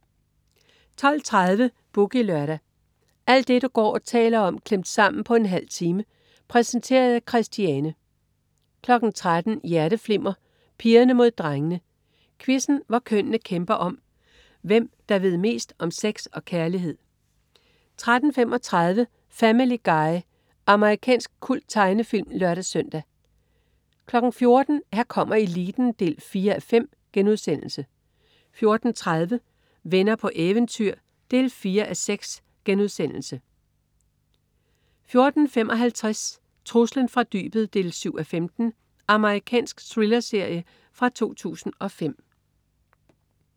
12.30 Boogie Lørdag. Alt det du går og taler om klemt sammen på en halv time. Præsenteret af Christiane 13.00 Hjerteflimmer: Pigerne mod drengene. Quizzen, hvor kønnene kæmper om, hvem der ved mest om sex og kærlighed 13.35 Family Guy. Amerikansk kulttegnefilm (lør-søn) 14.00 Her kommer eliten 4:5* 14.30 Venner på eventyr 4:6* 14.55 Truslen fra dybet 7:15. Amerikansk thrillerserie fra 2005